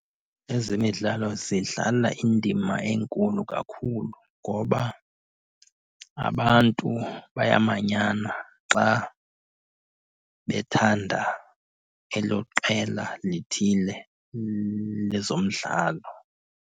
Ezemidlalo zidlala indima enkulu kakhulu ngoba abantu bayamanyana xa bethanda elo qela lithile lezomdlalo.